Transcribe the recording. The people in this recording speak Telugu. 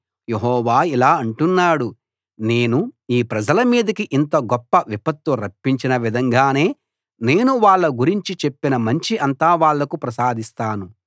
యెహోవా ఇలా అంటున్నాడు నేను ఈ ప్రజల మీదికి ఇంత గొప్ప విపత్తు రప్పించిన విధంగానే నేను వాళ్ళ గురించి చెప్పిన మంచి అంతా వాళ్ళకు ప్రసాదిస్తాను